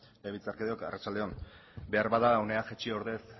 legebiltzarkideok arratsalde on beharbada hona jaitsi ordez